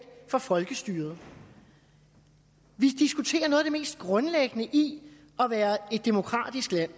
for folkestyret vi diskuterer noget af det mest grundlæggende i at være et demokratisk land